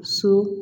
So